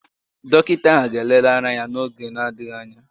Dọkịta ahụ ga-elele ara ya n'oge na-adịghị anya